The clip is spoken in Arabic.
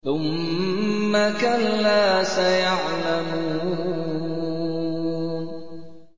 ثُمَّ كَلَّا سَيَعْلَمُونَ